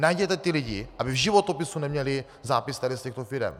Najděte ty lidi, aby v životopise neměli zápis tady z těchto firem.